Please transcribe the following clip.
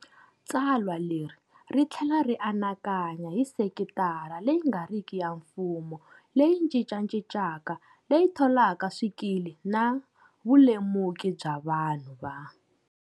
Tsalwa leri ri tlhela ri anakanya hi sekitara leyi nga riki ya mfumo leyi cincacincaka, leyi tholaka swikili na vulemuki bya vanhu va.